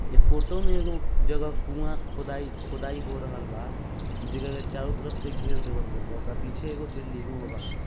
ई photo में एगो जगह कुआँ खुदाई खुदाई हो रहल बा जगह के चारो तरफ से घेर देल बा पीछे लई गई है। ओगा पीछे एगो बिल्डिंग भी बा।